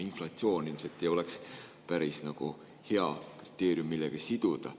Inflatsioon ilmselt ei ole päris hea kriteerium, millega seda siduda.